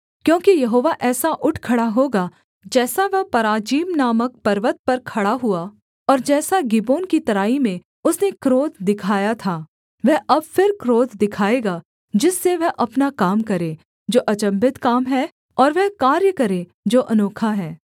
क्योंकि यहोवा ऐसा उठ खड़ा होगा जैसा वह पराजीम नामक पर्वत पर खड़ा हुआ और जैसा गिबोन की तराई में उसने क्रोध दिखाया था वह अब फिर क्रोध दिखाएगा जिससे वह अपना काम करे जो अचम्भित काम है और वह कार्य करे जो अनोखा है